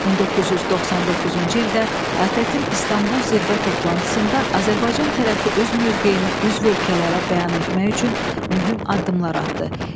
1999-cu ildə ATƏT-in İstanbul zirvə toplantısında Azərbaycan tərəfi öz mövqeyini üzv ölkələrə bəyan etmək üçün mühüm addımlar atdı.